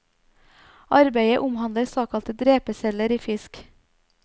Arbeidet omhandler såkalte dreperceller i fisk.